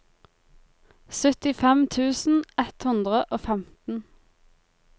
syttifem tusen ett hundre og femten